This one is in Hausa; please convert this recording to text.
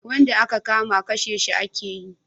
Wanda a ka kama kashe shi a ke yi